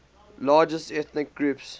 largest ethnic groups